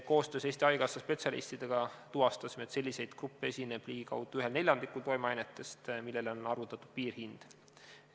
Koostöös Eesti Haigekassa spetsialistidega tuvastasime, et selliseid gruppe esineb ligikaudu ühel neljandikul toimeainetest, millele on arvutatud piirhind.